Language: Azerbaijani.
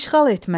İşğal etmək.